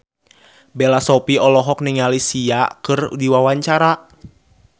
Bella Shofie olohok ningali Sia keur diwawancara